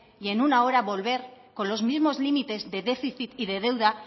y en una hora volver con los mismos límites de déficit y de deuda